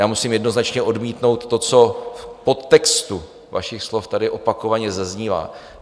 Já musím jednoznačně odmítnout to, co v podtextu vašich slov tady opakovaně zaznívá.